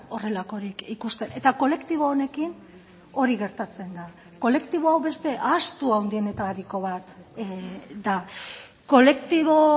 horrelakorik ikusten eta kolektibo honekin hori gertatzen da kolektibo hau beste ahaztu handienetariko bat da kolektibo